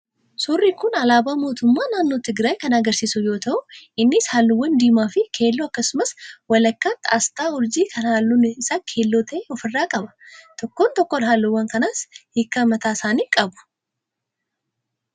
Suuraan kun alaabaa mootummaa naannoo Tigraay kan agarsiisu yoo ta'u, innis halluuwwan diimaa fi keelloo akkasumas walakkaatti asxaa urjii kan halluun isaa keelloo ta'e ofirraa qaba. Tokkoon tokkoon halluuwwan kanaas hiika mataa isaanii qabu.